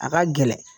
A ka gɛlɛn